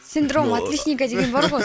синдром отличника деген бар гой